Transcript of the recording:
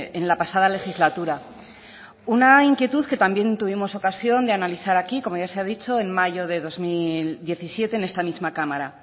en la pasada legislatura una inquietud que también tuvimos ocasión de analizar aquí como ya se ha dicho en mayo de dos mil diecisiete en esta misma cámara